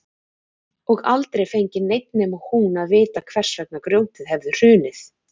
Og aldrei fengi neinn nema hún að vita hvers vegna grjótið hefði hrunið.